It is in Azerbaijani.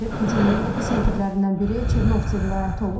Hücumun episentrlərindən biri Çernovtsi vilayəti olub.